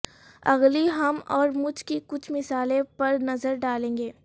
اگلی ہم اورمجھ کی کچھ مثالیں پر نظر ڈالیں گے